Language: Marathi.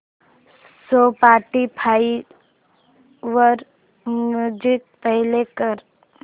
स्पॉटीफाय वर म्युझिक प्ले कर